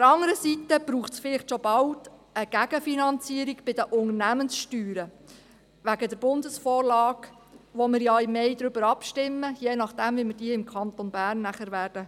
Hingegen braucht es vielleicht schon bald eine Gegenfinanzierung bei den Unternehmenssteuern wegen der Bundesvorlage, über die wir ja im Mai abstimmen werden, und je nachdem, wie wir diese nachher im Kanton Bern ausgestalten werden.